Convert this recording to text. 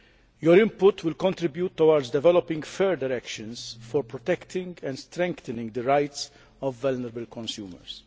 Your input will contribute towards developing further actions for protecting and strengthening the rights of vulnerable consumers.